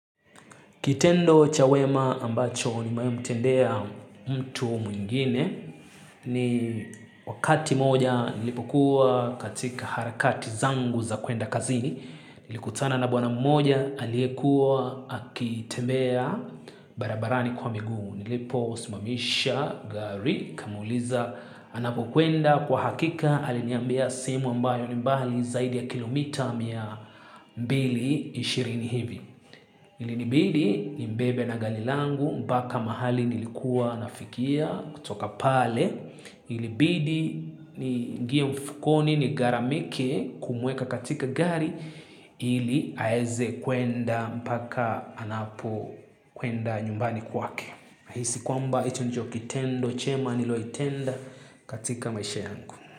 Kitendo cha wema ambacho nimewahi mtendea mtu mwingine ni wakati mmoja nilipo kuwa katika harakati zangu za kwenda kazini. Nilikutana na bwana mmoja aliekua akitembea barabarani kwa miguu. Nilipo simamisha gari nikamuuliza anapokwenda kwa hakika aliniambia simu ambayo ni mbahali zaidi ya kilomita mia mbili ishirini hivi. Ili nibidi ni mbebe na gari langu mpaka mahali nilikuwa nafikia kutoka pale ili nibidi niingie mfukoni nigharamike kumweka katika gari ili aweze kwenda mpaka anapo kwenda nyumbani kwake nahisi kwamba icho ndicho kitendo chema nilo itenda katika maisha yangu.